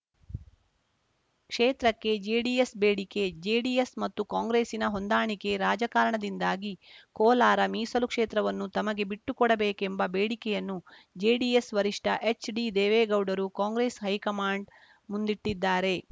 ಕ್ಷೇತ್ರಕ್ಕೆ ಜೆಡಿಎಸ್‌ ಬೇಡಿಕೆ ಜೆಡಿಎಸ್‌ ಮತ್ತು ಕಾಂಗ್ರೆಸ್‌ನ ಹೊಂದಾಣಿಕೆ ರಾಜಕಾರಣದಿಂದಾಗಿ ಕೋಲಾರ ಮೀಸಲು ಕ್ಷೇತ್ರವನ್ನು ತಮಗೆ ಬಿಟ್ಟು ಕೊಡಬೇಕೆಂಬ ಬೇಡಿಕೆಯನ್ನು ಜೆಡಿಎಸ್‌ ವರಿಷ್ಠ ಎಚ್‌ಡಿದೇವೇಗೌಡರು ಕಾಂಗ್ರೆಸ್‌ ಹೈಕಮಾಂಡ್‌ ಮುಂದಿಟ್ಟಿದ್ದಾರೆ